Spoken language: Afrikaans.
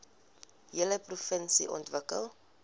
hele provinsie ontwikkel